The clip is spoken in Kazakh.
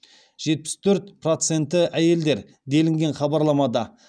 жетпіс төрт проценті әйелдер делінген хабарламада